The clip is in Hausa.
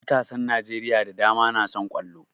Matasan Najeriya da dama na son ƙwallo